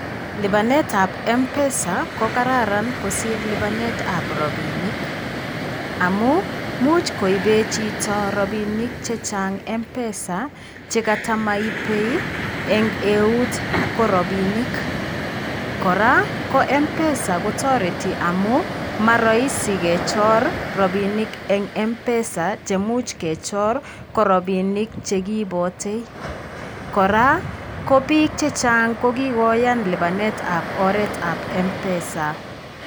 Lipanet ab MPESA ko karararan kosir lipanet ab robinik amun much koiben chito rabinik chechang MPESA chekata maipe en eut ko robinik, koraa ko MPESA kotoreti amun moroisi kechor robinik en MPESA che imuch kechor ko robinik che kiipote, koraa ko bik chechang kokikoyan lipanet aboret ab MPESA.